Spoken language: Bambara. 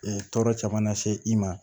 tɔɔrɔ caman na se i ma